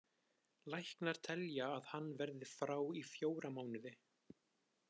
Læknar telja að hann verði frá í fjóra mánuði.